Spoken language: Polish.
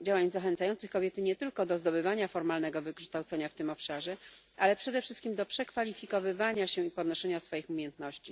działań zachęcających kobiety nie tylko do zdobywania formalnego wykształcenia w tym obszarze, ale przede wszystkim do przekwalifikowywania się i podnoszenia swoich umiejętności.